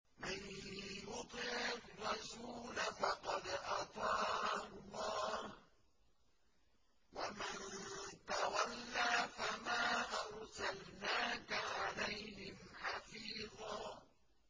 مَّن يُطِعِ الرَّسُولَ فَقَدْ أَطَاعَ اللَّهَ ۖ وَمَن تَوَلَّىٰ فَمَا أَرْسَلْنَاكَ عَلَيْهِمْ حَفِيظًا